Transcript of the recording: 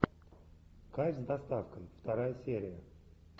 кайф с доставкой вторая серия